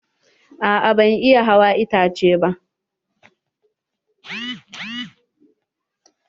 A'a ban iya hawa itace ba.